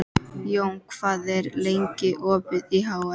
Jón, hvað er lengi opið í HR?